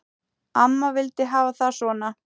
Amma vildi hafa það svona.